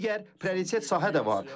Digər prioritet sahə də var.